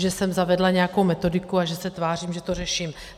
Že jsem zavedla nějakou metodiku a že se tvářím, že to řeším.